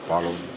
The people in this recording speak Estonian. Palun!